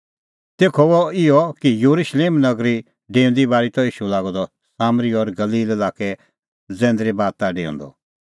तेखअ हुअ इहअ कि येरुशलेम नगरी लै डेऊंदी बारी त ईशू लागअ द सामरी और गलील लाक्कै जैंदरे बाता डेऊंदअ